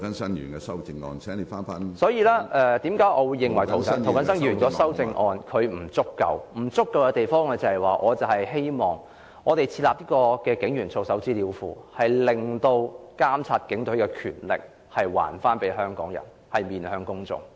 所以，我認為涂謹申議員的修正案有不足之處。我希望設立警員操守資料庫，把監察警隊的權力交還給香港人，讓警隊面對公眾。